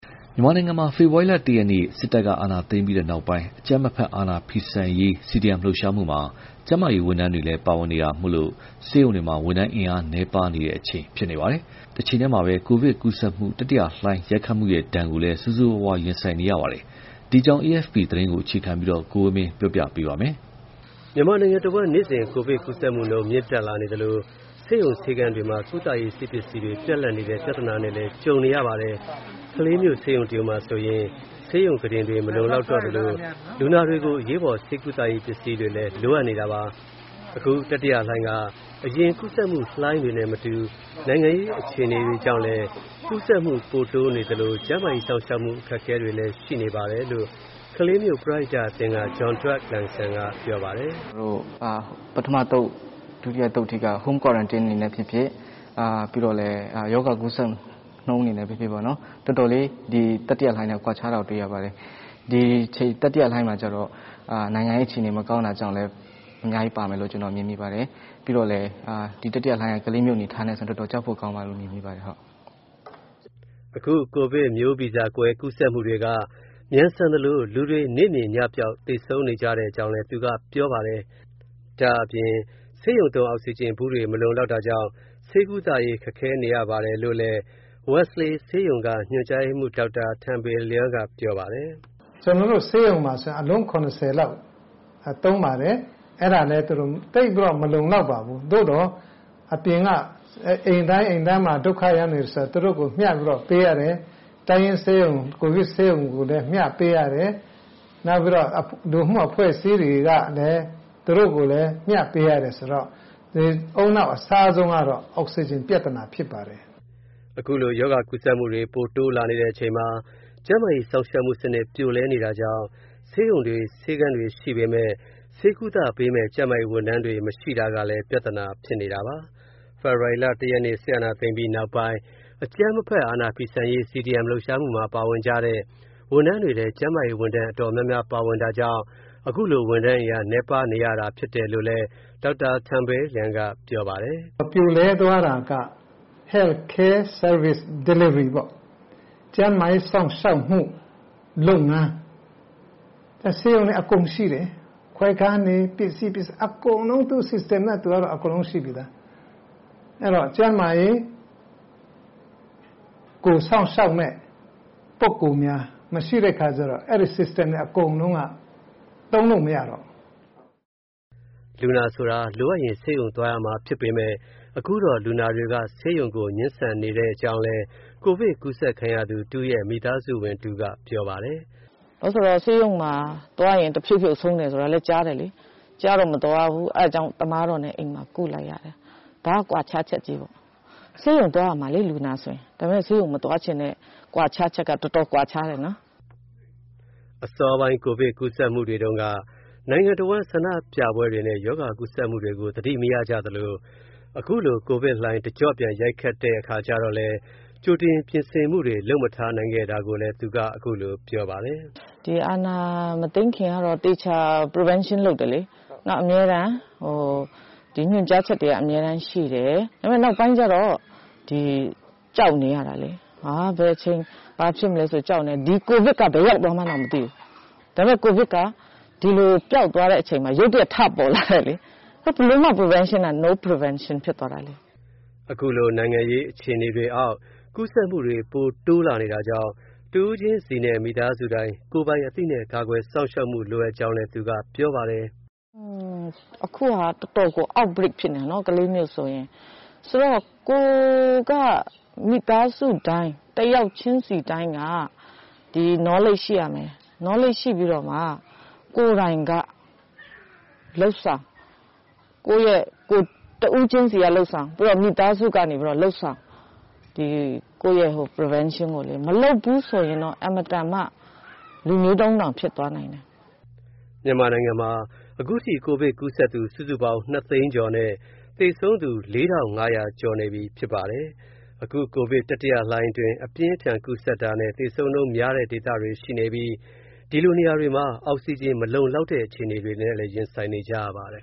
မြန်မာနိုင်ငံမှာ ဖေဖော်ဝါရီလ ၁ ရက်နေ့ စစ်အာဏာသိမ်းပြီးနောက်ပိုင်း အကြမ်းမဖက် အာဏာဖီဆန်ရေး CDM လှုပ်ရှားမှုမှာ ကျန်းမာရေးဝန်ထမ်းတွေလည်း ပါဝင်တာကြောင့် ဆေးရုံတွေမှာ ဝန်ထမ်းအင်အား နည်းပါးနေတဲ့ တချိန်တည်းမှာ ကိုဗစ်ကူးစက်မှု တတိယလှိုင်း ရိုက်ခတ်မှုဒဏ်ကို ဆိုးဆိုးရွားရွား ရင်ဆိုင်နေကြရပါတယ်။ ဒီအကြောင်း AFP သတင်းကို အခြေခံပြီး ကိုဝင်းမင်း တင်ပြပေးထားပါတယ်။ မြန်မာနိုင်ငံတဝန်း နေ့စဉ် ကိုဗစ်ကူးစက်မှုနှုန်း မြင့်တက်လာနေသလို ဆေးရုံ ဆေးခန်းတွေမှာ ကုသရေး ဆေးပစ္စည်းတွေ ပြတ်လပ်နေတဲ့ ပြဿနာနဲ့လည်း ကြုံနေရပါတယ်။ ကလေးမြို့ ဆေးရုံတရုံမှာဆိုရင် ဆေးရုံခုတင်တွေ မလုံလောက်တော့သလို လူနာတွေကို အရေးပေါ် ဆေးကုသရေး ပစ္စည်းတွေလည်း လိုအပ်နေတာပါ။ အခု တတိယလှိုင်းက အရင်ကူးစက်မှုလှိုင်းတွေနဲ့မတူ နိုင်ငံရေး အခြေအနေတွေကြောင့်လည်း ကူးစက်မှု ပိုတိုးနေသလို ကျန်းမာရေးစောင့်ရှောက်မှု အခက်အခဲတွေလည်း ရှိနေပါတယ်လို့ ကလေးမြို့ ပရဟိတအသင်းက John Dawt Lian Sang က ပြောပါတယ်။ “ပထမအသုတ်၊ ဒုတိယအသုတ်အထိက Home Quarantine အနေနဲ့ဖြစ်ဖြစ် ပြီးတော့ ရောဂါကူးစက်နှုန်း အနေနဲ့ဖြစ်ဖြစ် တော်တော်လေး တတိယလှိုင်းနဲ့ ကွာခြားတာကို တွေ့ရပါတယ်။ ဒီတတိယလှိုင်းမှာကြတော့ နိုင်ငံရေးအခြေအနေ မကောင်းတာကြောင့်လည်း အများကြီးပါမယ်လို့ ကျနော် မြင်မိပါတယ်။ ပြီးတော့ ဒီတတိယလှိုင်းက ကလေးမြို့ အနေအထားနဲ့ဆို တော်တော် ကြောက်ဖို့ကောင်းတယ်လို့ မြင်မိပါတယ်။” အခု ကိုဗစ်မျိုးဗီဇကွဲ ကူးစက်မှုတွေက မြန်ဆန်သလို လူတွေ နေ့မြင်ညပျောက် သေဆုံးနေကြတဲ့ အကြောင်းလည်း သူက ပြောပါတယ်။ ဒါ့အပြင် ဆေးရုံသုံး အောက်စီဂျင်ဘူးတွေ မလုံလောက်တာကြောင့် ဆေးကုသရေး ခက်ခဲနေရတဲ့ အကြောင်းလည်း Wesley ဆေးရုံက ညွှန်ကြားရေးမှူး ဒေါက်တာ Than Bil Luai က ပြောပါတယ်။ “ကျနော်တို့ဆေးရုံမှာဆို အလုံး ၇၀ လောက် သုံးပါတယ်။ အဲဒါလည်း သိပ်ပြီးတော့ မလုံလောက်ပါဘူး။ သို့သော် အပြင်က အိမ်တိုင်းအိမ်တိုင်းမှာ ဒုက္ခရောက်နေတယ်ဆိုတော့ သူတို့ကို မျှပြီးတော့ ပေးရတယ်။ တိုင်းရင်းဆေးရုံ ကိုဗစ်ဆေးရုံကိုလည်း မျှပေးရတယ်။ ပြီးတော့ လူမှုအဖွဲ့အစည်းတွေကိုလည်း မျှပေးရတယ်ဆိုတော့ ဦးနှောက်အစားဆုံးကတော့ အောက်ဆီဂျင်ပြဿနာ ဖြစ်ပါတယ်။” အခုလို ရောဂါကူးစက်မှုတွေ ပိုတိုးလာနေတဲ့ အချိန်မှာ ကျန်းမာရေးစောင့်ရှောက်မှုစနစ် ပြိုလဲနေတာကြောင့် ဆေးရုံတွေ၊ ဆေးခန်းတွေ ရှိပေမယ့် ဆေးကုသပေးမယ့် ကျန်းမာရေးဝန်ထမ်းတွေ မရှိတာကလည်း ပြဿနာဖြစ်နေတာပါ။ ဖေဖော်ဝါရီလ ၁ ရက်နေ့ စစ်အာဏာသိမ်းပြီးနောက်ပိုင်း အကြမ်းမဖက် အာဏာဖီဆန်ရေး CDM လှုပ်ရှားမှုမှာ ပါဝင်ကြတဲ့ ဝန်ထမ်းတွေထဲ ကျန်းမာရေးဝန်ထမ်း အတော်များများလည်း ပါဝင်တာကြောင့် အခုလို ဝန်ထမ်းအင်အား နည်းပါးနေရတာ ဖြစ်တယ်လို့လည်း Dr.Than Bil Luai က ပြောပါတယ်။ “ပြိုလဲသွားတာက Health Care Service Delivery ပေ့ါ၊ ကျန်းမာရေးစောင့်ရှောက်မှု လုပ်ငန်း၊ ဆေးရုံတွေ အကုန်ရှိတယ်၊ ခွဲခန်းတွေ ပစ္စည်းပစ္စယ အကုန်လုံး သူ့ System နဲ့ သူကတော့ အကုန်လုံးရှိပြီးသား။ အဲတော့ ကျန်းမာရေးကို စောင့်ရှောက်မယ့် ပုဂ္ဂိုလ်များ မရှိတဲ့အခါကြတော့ အဲဒီ System တွေ အကုန်လုံးက သုံးလို့မရတော့ဘူး။” တချို့လူနာတွေကလည်း ဆေးရုံမသွားလိုတာကြောင့် အိမ်မှာပဲ ဆေးကုသမှု ခံယူကြပါတယ်။ လူနာဆိုတာ လိုအပ်ရင် ဆေးရုံသွားရမှာဖြစ်ပေမယ့် အခုတော့ လူနာတွေက ဆေးရုံကို ငြင်းဆန်ကြတဲ့ အကြောင်းလည်း ကိုဗစ်ကူးစက်ခံရသူ တဦးရဲ့ မိသားစုဝင်တဦးက ပြောပါတယ်။ “ဘာဖြစ်လို့လဲဆိုတော့ ဆေးရုံမှာသွားရင် တဖြုတ်ဖြုတ် ဆုံးတယ်ဆိုတာလည်း ကြားတယ်လေ။ ကြားတော့ မသွားဘူး။ အဲဒါကြောင့် သမားတော်နဲ့ အိမ်မှာ ကုလိုက်ရတယ်။ ဒါက ကွာခြားချက်ကြီးပေါ့။ ဆေးရုံသွားရမှာလေ လူနာဆိုရင်။ ဒါပေမယ့် ဆေးရုံမသွားချင်တဲ့ ကွာခြားချက်က တော်တော်ကွာခြားတယ်နော်။” အစောပိုင်း ကိုဗစ်ကူးစက်မှုတွေတုန်းက နိုင်ငံတဝန်း ဆန္ဒပြပွဲတွေနဲ့ ရောဂါကူးစက်မှုတွေကို သတိမရကြသလို အခုလို ကိုဗစ်လှိုင်း တကျော့ပြန် ရိုက်ခတ်ခံရတဲ့အခါ ကြိုတင်ပြင်ဆင်မှုတွေ လုပ်မထားနိုင်ခဲ့တာကိုလည်း သူက အခုလိုပြောပါတယ်။ “အာဏာမသိမ်းခင်ကတော့ သေချာ Prevention လုပ်တယ်လေ။ နောက် ညွှန်ကြားချက်တွေက အမြဲတမ်းရှိတယ်။ ဒါပေမယ့် နောက်ပိုင်းကြတော့ ကြောက်နေရတာလေ။ ဘယ်အချိန် ဘာဖြစ်မလဲ ကြောက်နေရတော့ ဒီကိုဗစ်က ဘယ်ရောက်သွားမှန်းတောင် မသိဘူး။ ဒါပေမယ့် ကိုဗစ်က ဒီလို ပျောက်သွားတဲ့အချိန်မှာ ရုတ်တရက် ထပေါ်လာတယ်။ ဘယ်လိုမှ Prevention က No Prevention ဖြစ်သွားတာလေ။” အခုလို နိုင်ငံရေးအခြေအနေတွေအောက် ကူးစက်မှုတွေ ပိုတိုးလာနေတာကြောင့် တဦးချင်းစီနဲ့ မိသားစုတိုင်း ကိုယ်ပိုင်အသိနဲ့ ကာကွယ်စောင့်ရှောက်မှု လိုအပ်ကြောင်းလည်း သူကပြောပါတယ်။ “အခုဟာ တော်တော်ကို Outbreak ဖြစ်နေတာ ကလေးမြို့ဆိုရင်။ ဆိုတော့ မိသားစုတိုင်း၊ တယောက်ချင်းစီတိုင်းက ဒီ Knowledge ရှိရမယ်၊ Knowledge ရှိပြီးတော့ ကိုယ်တိုင် တဦးချင်းစီက လုပ်ဆောင်၊ ပြီးတော့ မိသားစုက လုပ်ဆောင်၊ ကိုယ့်ရဲ့ Prevention ကို မလုပ်ဘူးဆိုရင်တော့ အင်မတန်မှ လူမျိုးတုံးတောင် ဖြစ်သွားနိုင်တယ်။” မြန်မာနိုင်ငံမှာ အခုထိ ကိုဗစ်ကူးစက်သူ စုစုပေါင်း ၂ သိန်းကျော်နဲ့ သေဆုံးသူ ၄,၅၀၀ ကျော်နေပြီ ဖြစ်ပါတယ်။ အခု ကိုဗစ်တတိယလှိုင်းအတွင်း အပြင်းအထန် ကူးစက်တာနဲ့ သေဆုံးနှုန်းများတဲ့ ဒေသတွေ ရှိနေပြီး အဲဒီလိုနေရာတွေမှာ အောက်ဆီဂျင် မလုံလောက်တဲ့ အခြေအနေတွေနဲ့လည်း ရင်ဆိုင်နေရပါတယ်